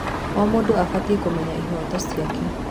O mũndũ abatiĩ kũmenya ihooto ciake.